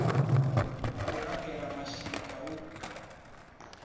ḽa u laṱela mashika hu